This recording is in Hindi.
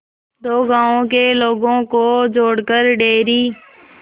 दो गांवों के लोगों को जोड़कर डेयरी